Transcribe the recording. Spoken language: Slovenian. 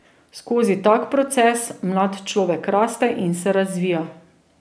Skozi tak proces mlad človek raste in se razvija.